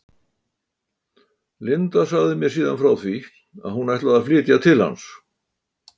Linda sagði mér síðan frá því að hún ætlaði að flytja til hans.